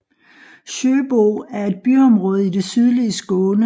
Sjöbo er et byområde i det sydlige Skåne